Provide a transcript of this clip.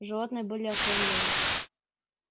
животные были ошеломлены